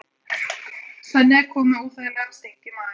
Svenni er kominn með óþægilegan sting í magann.